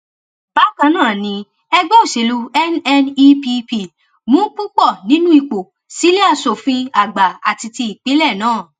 bákan náà ni ẹgbẹ òsèlú nnepp mú púpọ nínú ipò sílé asòfin àgbà àti ti ìpínlẹ náà